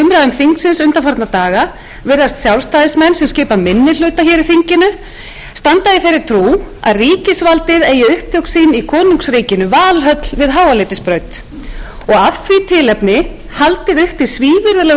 umræðum þingsins undanfarna daga virðast sjálfstæðismenn sem skipa minni hluta í þinginu standa í þeirri trú að ríkisvaldið eigi upptök sín í konungsríkinu valhöll við háaleitisbraut og af því tilefni haldið uppi svívirðilegu málþófi